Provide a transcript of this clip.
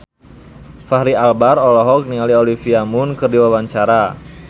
Fachri Albar olohok ningali Olivia Munn keur diwawancara